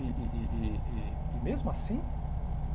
E e e e e e mesmo assim?